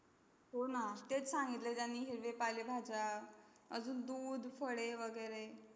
होणं ना तेच संगीत ला आहे तेंही हिरवे पाले भाज्या अजून दूध फळे वगैरे